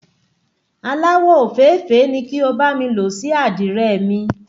Aláwọ̀ ofèéfèé ni kí o bá mi ló sí Àdìrẹ mi.